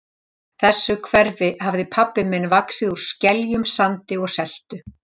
þessu hverfi hafði pabbi minn vaxið úr skeljum, sandi og seltu.